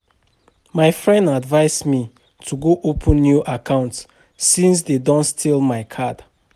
My friend advice me to go open new account since dey don steal my card